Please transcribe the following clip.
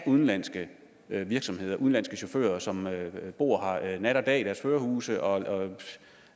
udenlandske virksomheder og af udenlandske chauffører som bor nat og dag i deres førerhuse og